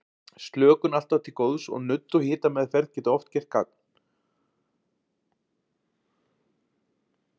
Slökun er alltaf til góðs og nudd og hitameðferð geta oft gert gagn.